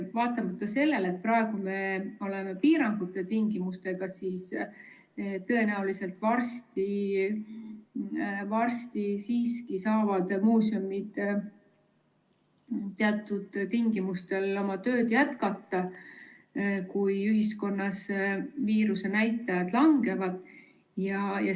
Vaatamata sellele, et meil praegu kehtivad piirangud, siis tõenäoliselt varsti, kui ühiskonnas viirusenäitajad langevad, saavad muuseumid teatud tingimustel oma tööd siiski jätkata.